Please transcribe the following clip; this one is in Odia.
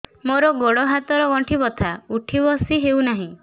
ମୋର ଗୋଡ଼ ହାତ ର ଗଣ୍ଠି ବଥା ଉଠି ବସି ହେଉନାହିଁ